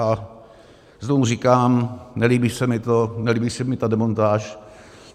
A znovu říkám, nelíbí se mi to, nelíbí se mi ta demontáž.